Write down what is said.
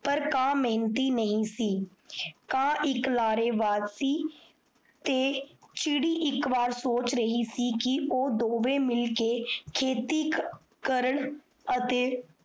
ਪਰ ਕਾਨ ਮੇਹਨਤੀ ਸੀ ਕਾ ਇਕ ਲਾਰੇਬਾਜ਼ਜ਼ ਸੀ ਤੇ ਚਿੜੀ ਇਕ ਵਾਰ ਸੋਚ ਰਿਹਾ ਸੀ ਕਿ ਓਫ ਦੋਵੇ ਮਿਲ ਕੇ ਖੇਤੀ ਕਰਨ